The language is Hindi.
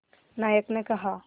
नायक ने कहा